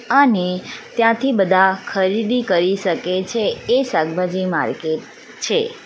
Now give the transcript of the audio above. અને ત્યાંથી બધા ખરીદી કરી સકે છે એ શાકભાજી માર્કેટ છે.